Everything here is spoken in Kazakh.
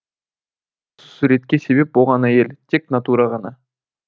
ал осы суретке себеп болған әйел тек натура ғана